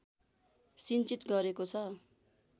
सिञ्चित गरेको छ